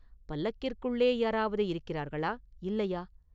பல்லக்கிற்குள்ளே யாராவது இருக்கிறார்களா; இல்லையா?